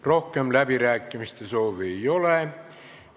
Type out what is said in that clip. Rohkem läbirääkimiste soovi ei ole.